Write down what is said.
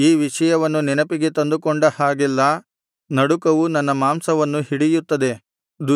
ಈ ವಿಷಯವನ್ನು ನೆನಪಿಗೆ ತಂದುಕೊಂಡ ಹಾಗೆಲ್ಲಾ ನಡುಕವು ನನ್ನ ಮಾಂಸವನ್ನು ಹಿಡಿಯುತ್ತದೆ